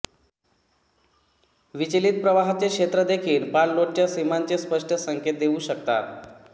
विचलित प्रवाहाचे क्षेत्र देखील पाणलोटच्या सीमांचे स्पष्ट संकेत देऊ शकतात